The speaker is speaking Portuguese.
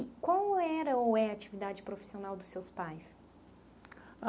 E qual era ou é a atividade profissional dos seus pais?